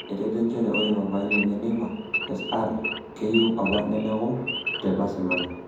Etejo njere ore papai lenye Neymar Sr keyeu apa neleku te Barcelona